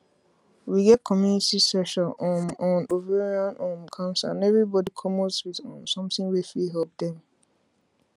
we get community session um on ovarian um cancer and everybody commot with um something wey fit help dem